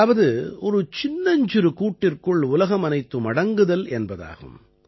அதாவது ஒரு சின்னஞ்சிறு கூட்டிற்குள் உலகமனைத்தும் அடங்குதல் என்பதாகும்